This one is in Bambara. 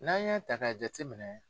N'an y'a ta ka jate minɛ.